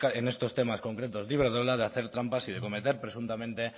en estos temas concretos de iberdrola de hacer trampas y de cometer presuntamente